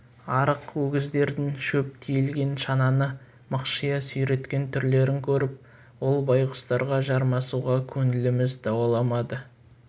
арық өгіздердің шөп тиелген шананы мықшия сүйреткен түрлерін көріп ол байғұстарға жармасуға көңіліміз дауаламады